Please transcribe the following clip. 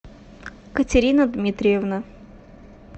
катерина дмитриевна